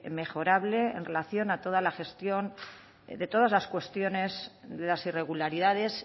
mejorable en relación a toda la gestión de todas las cuestiones de las irregularidades